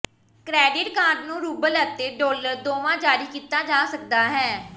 credit card ਨੂੰ rouble ਅਤੇ dollar ਦੋਵਾਂ ਜਾਰੀ ਕੀਤਾ ਜਾ ਸਕਦਾ ਹੈ